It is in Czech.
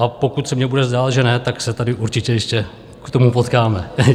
A pokud se mně bude zdát, že ne, tak se tady určitě ještě k tomu potkáme.